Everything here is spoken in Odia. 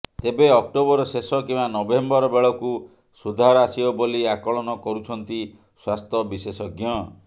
ତେବେ ଅକ୍ଟୋବର ଶେଷ କିମ୍ବା ନଭେମ୍ବର ବେଳକୁ ସୁଧାର ଆସିବ ବୋଲି ଆକଳନ କରୁଛନ୍ତି ସ୍ୱାସ୍ଥ୍ୟ ବିଶେଷଜ୍ଞ